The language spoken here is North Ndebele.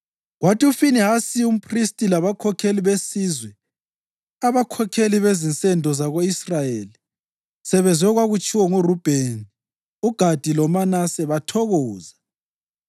Kwathi uFinehasi umphristi labakhokheli besizwe, abakhokheli bezinsendo zako-Israyeli, sebezwe okwakutshiwo nguRubheni, uGadi loManase bathokoza.